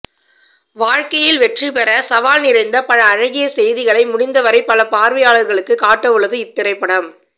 வாழ்க்கையில் வெற்றி பெற சவால் நிறைந்த அழகிய செய்தியை முடிந்தவரை பல பார்வையாளர்களுக்கு காட்டவுள்து இத்திரைப்படம்